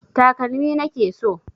Takalmi na ke so.